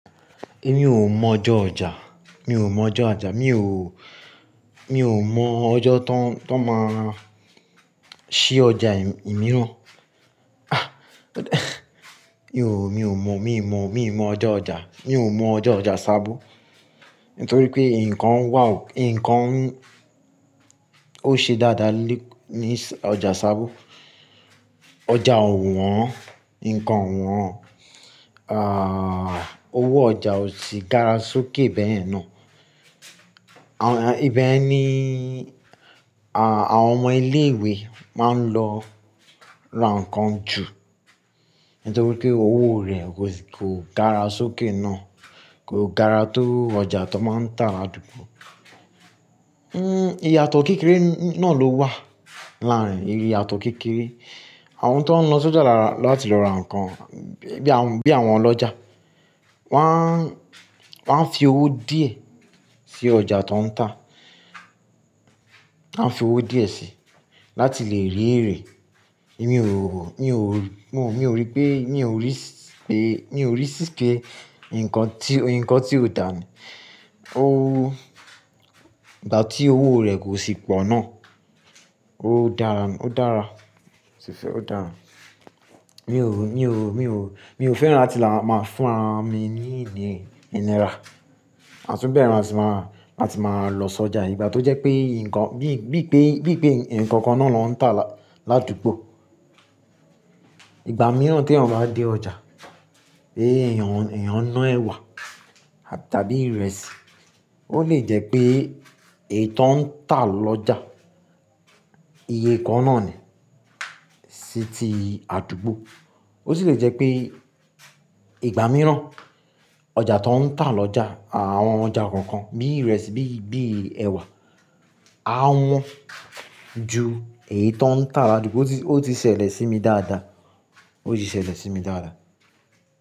Èmi ò mọ ọjọ́ ọjà, mi ò mọ ọjọ́ ọjà, mi ò, mi ò mọ ọjọ́ tan, tan máa ṣí ọjà ìmíràn. Ah! Mi ò, mi ò mọ, mi ò mọ, mi ò mọ ọjọ́ ọjà. Mi ò mọ ọjọ́ ọjà sábó. Nítorí pé nǹkan wà ó, nǹkan ó ṣe dáadáa ni, ní ọjà sábó. Ọjà ò wọ́n, nǹkan ò wọ́n. Ààh, owó ọjà ò sì gara sókè bẹ́ẹ̀ ná. À, ìbẹ́ ní, àh, àwọn ọmọ ilé ìwé máa ń lọ ra nǹkan jù. Nítorí pé owó rẹ̀ kò sì, kò gara sókè ná, kò gara tó ọjà tó máa ń tà ládùgbò. Hmm, ìyàtọ̀ kékeré ná ló wà láàrin, ìyàtọ̀ kékeré. Àwọn tó ń lọ sójà láti lọ ra nǹkan, bí àwọn, bí àwọn ọlọ́jà. Wọ́n á, wọ́n á fi owó díẹ̀ sí ọjà tó ń tà. Wọ́n á fi owó díẹ̀ síi, láti lè rí ẹ́rẹ́. Èmi ò, mi ò, mò, mi ò rí pé, mi ò rí pé, mi ò rí sí pé nǹkan tí, nǹkan tí ò dáa ní. Ó, ìgbà tí owó rẹ̀ kò sì pọ̀ ná, ó dára, ó dára. Ṣìṣẹ́, ó dára. Mi ò, mi ò, mi ò, mi ò fẹ́ràn láti máa fún ara mi ní ìnira Àtúnbẹ́rẹ̀ a sì máa, a sì máa lọ sójà ìgbà tó jẹ́ pé nǹkan, bí i pé, bí i pé ǹkan kan náà ló ń tà ládùgbò. Ìgbà mìíràn tí èèyàn bá dé ọjà, pé èèyàn, èèyàn ná ẹwà tàbí ìrẹsì. Ó lè jẹ́ pé èyí tó ń tà lọ́jà iye kan náà ni sí ti àdúgbò. Ó sì lè jẹ́ pé ìgbà mìíràn ọjà tó ń tà lọ́jà, àwọn ọjà kọ̀ọ̀kan bíi ìrẹsì, bí i, bí i ẹwà a wọ́n ju èyí tó ń tà ládùgbò. Ó ti, ó tì ṣẹlẹ̀ sí mi dáadáa. Ó sì ṣẹlẹ̀ sí mi dáadáa.